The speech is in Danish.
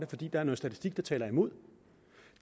fordi der er noget statistik der taler imod